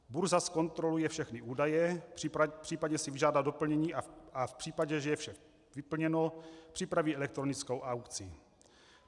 Burza zkontroluje všechny údaje, případně si vyžádá doplnění, a v případě, že je vše vyplněno, připraví elektronickou aukci.